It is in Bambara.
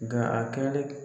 Nga a kɛlen